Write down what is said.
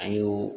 A y'o